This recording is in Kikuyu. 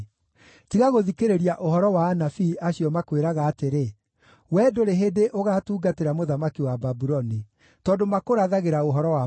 Tiga gũthikĩrĩria ũhoro wa anabii acio makwĩraga atĩrĩ, ‘Wee ndũrĩ hĩndĩ ũgaatungatĩra mũthamaki wa Babuloni,’ tondũ makũrathagĩra ũhoro wa maheeni.